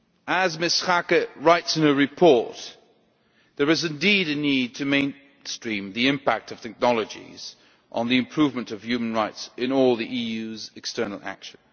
As Ms Schaake writes in the report, there is indeed a need to mainstream the impact of technologies on the improvement of human rights in all the EU's external action.